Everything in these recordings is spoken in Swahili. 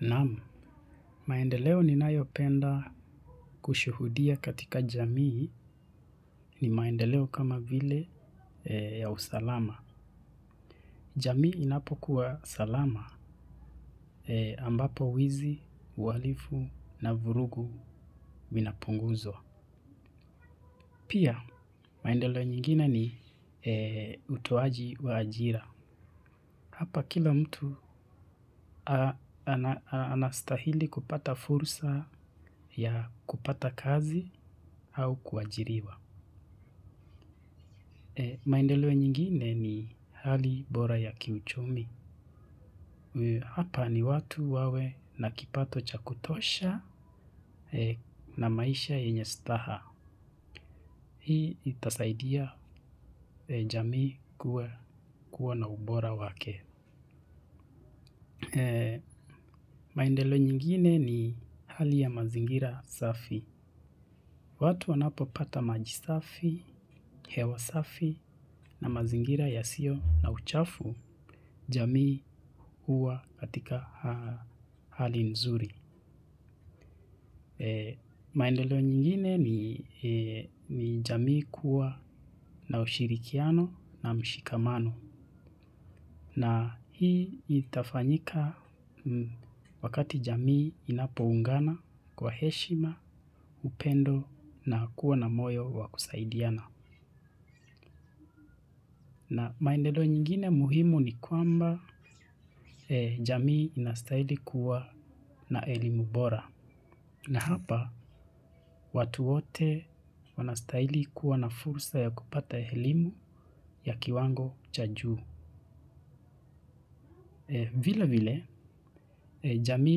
Naam, maendeleo ninayo penda kushuhudia katika jamii ni maendeleo kama vile ya usalama. Jamii inapo kuwa salama ambapo wizi, ualifu na vurugu vinapunguzwa. Pia, maendeleo nyingine ni utoaji wa ajira. Hapa kila mtu anastahili kupata fursa ya kupata kazi au kuajiriwa. Maendeleo nyingine ni hali bora ya kiuchumi. Hapa ni watu wawe nakipato cha kutosha na maisha yenye staha. Hii itasaidia jamii kuwa na ubora wake. Maindelo nyingine ni hali ya mazingira safi. Watu wanapo pata majisafi, hewasafi na mazingira ya sio na uchafu. Jamii huwa katika hali nzuri. Maendeleo nyingine ni jamii kuwa na ushirikiano na mshikamano. Na hii itafanyika wakati jamii inapoungana kwa heshima, upendo na kuwa na moyo wakusaidiana. Na maendeleo nyingine muhimu ni kwamba jamii inastahili kuwa na elimu bora. Na hapa watu wote wanastahili kuwa na fursa ya kupata elimu ya kiwango chajuu. Vile vile jamii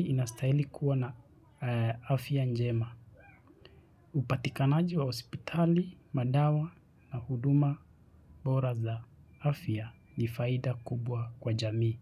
inastahili kuwa na afya njema. Upatikanaji wa hospitali, madawa na huduma bora za afya ni faida kubwa kwa jamii.